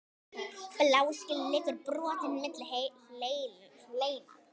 Bláskel liggur brotin milli hleina.